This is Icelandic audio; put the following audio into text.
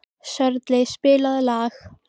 Sörli, spilaðu lag.